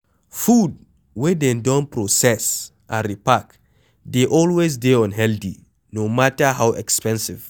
Food wey dem don process and repark dey always dey unhealthy no matter how expensive